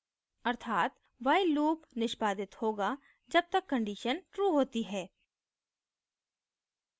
अर्थात while loop निष्पादित होगा जब तक condition true होती है